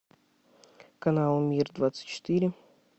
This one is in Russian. канал мир двадцать четыре